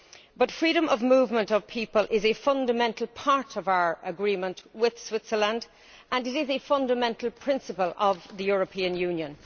But freedom of movement of people is a fundamental part of our agreement with Switzerland and it is a fundamental principle of the European Union.